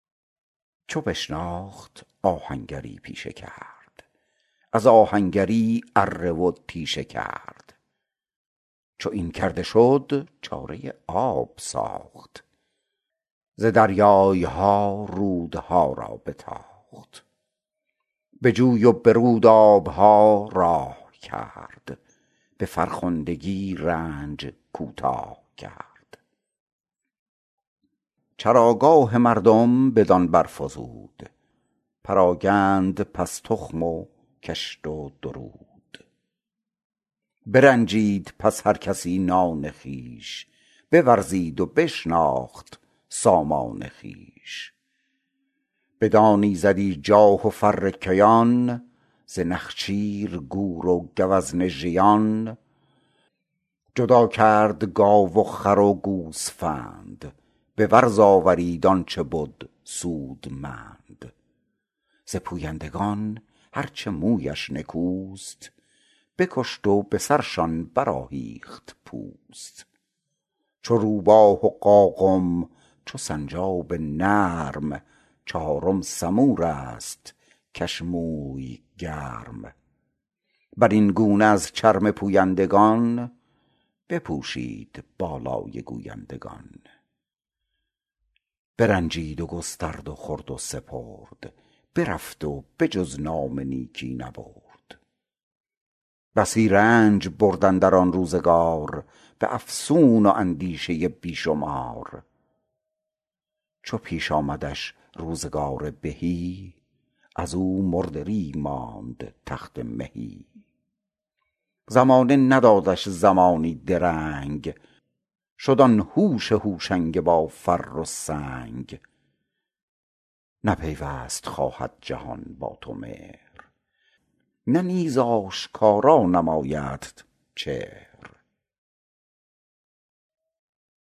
چو بشناخت آهنگری پیشه کرد از آهنگری اره و تیشه کرد چو این کرده شد چاره آب ساخت ز دریای ها رودها را بتاخت به جوی و به رود آب ها راه کرد به فرخندگی رنج کوتاه کرد چراگاه مردم بدان برفزود پراگند پس تخم و کشت و درود برنجید پس هر کسی نان خویش بورزید و بشناخت سامان خویش بدان ایزدی جاه و فر کیان ز نخچیر گور و گوزن ژیان جدا کرد گاو و خر و گوسفند به ورز آورید آن چه بد سودمند ز پویندگان هر چه مویش نکوست بکشت و به سرشان برآهیخت پوست چو روباه و قاقم چو سنجاب نرم چهارم سمور است کش موی گرم بر این گونه از چرم پویندگان بپوشید بالای گویندگان برنجید و گسترد و خورد و سپرد برفت و به جز نام نیکی نبرد بسی رنج برد اندر آن روزگار به افسون و اندیشه بی شمار چو پیش آمدش روزگار بهی از او مردری ماند تخت مهی زمانه ندادش زمانی درنگ شد آن هوش هوشنگ با فر و سنگ نه پیوست خواهد جهان با تو مهر نه نیز آشکارا نمایدت چهر